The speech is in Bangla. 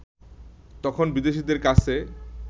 তখন বিদেশিদের কাছে